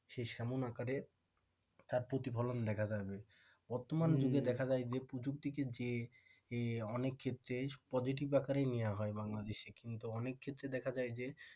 সে তেমন আকারে তার প্রতিফলন দেখা যাবে যুগে দেখা যায় যে প্রযুক্তিকে অনেক ক্ষেত্রে positive আকারেই নেয়া হয় বাংলাদেশে কিন্তু অনেক ক্ষেত্রেই দেখা যায় যে,